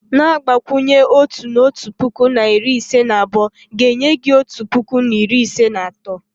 Na-agbakwụnye otu, na otu puku na iri ise na abụọ, ga enye hi otu puku na iri ise na atọ